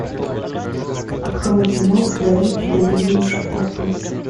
открой кино вдали от обезумевшей толпы